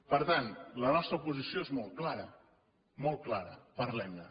per tant la nostra posició és molt clara molt clara parlem ne